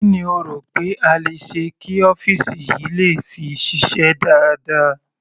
Kí ni o rò pé a le ṣe kí ọ́fìsì yìí le fi ṣiṣẹ́ dáadáa.